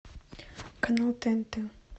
канал тнт